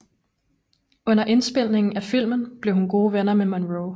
Under indspilningen af filmen blev hun gode venner med Monroe